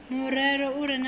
murero u re na ipfi